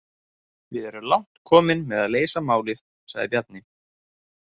Við erum langt komin með að leysa málið, sagði Bjarni.